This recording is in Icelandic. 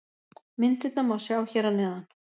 Myndirnar má sjá hér að neðan.